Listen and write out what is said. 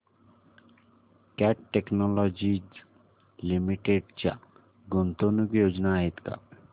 cat Technologies Limited च्या गुंतवणूक योजना आहेत का